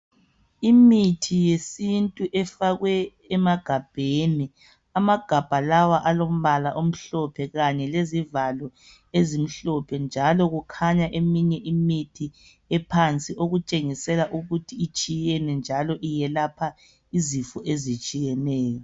Imithi yesintu efakwe emagabheni. Amagabha lawa alombala omhlophe kanye lezivalo ezimhlophe njalo kukhanya eminye imithi ephansi okutshengisela ukuthi itshiyene njalo iyelapha izifo ezitshiyeneyo.